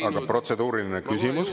Aga protseduuriline küsimus?